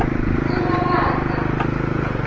umabasa